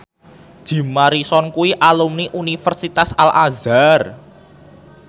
Jim Morrison kuwi alumni Universitas Al Azhar